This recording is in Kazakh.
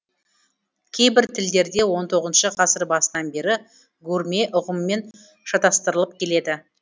кейбір тілдерде он тоғызыншы ғасырдың басынан бері гурмэ ұғымымен шатастырылып келеді